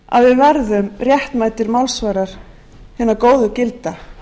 að við verðum réttmætir málsvarar hinna góðu gilda